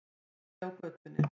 Úti á götunni.